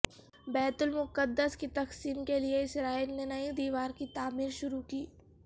بیت المقدس کی تقسیم کیلئے اسرائیل نے نئی دیوار کی تعمیر شروع کی